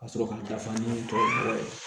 Ka sɔrɔ ka dafa ni tɔ ye